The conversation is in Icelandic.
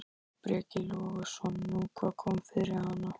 Breki Logason: Nú, hvað kom fyrir hana?